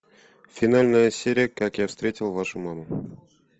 финальная серия как я встретил вашу маму